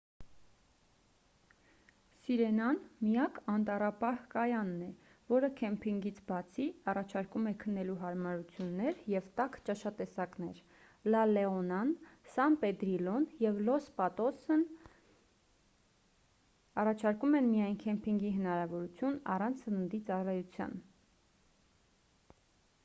սիրենան միակ անտառապահ-կայանն է որը քեմփինգից բացի առաջարկում է քնելու հարմարություններ և տաք ճաշատեսակներ լա լեոնան սան պեդրիլլոն և լոս պատոսն առաջարկում են միայն քեմփինգի հնարավորություն առանց սննդի ծառայության